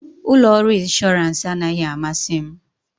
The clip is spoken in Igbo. Ụlọ ọrụ ịnshọransị anaghị amasị m